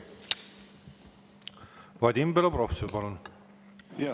Vadim Belobrovtsev, palun!